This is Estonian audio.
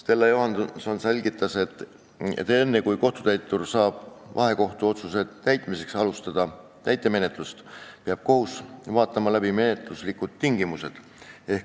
Stella Johanson selgitas, et enne, kui kohtutäitur saab vahekohtuotsuse täitmiseks alustada täitemenetlust, peab kohus vaatama läbi menetluslikud tingimused.